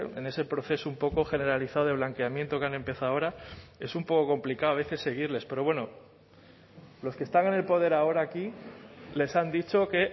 en ese proceso un poco generalizado de blanqueamiento que han empezado ahora es un poco complicado a veces seguirles pero bueno los que están en el poder ahora aquí les han dicho que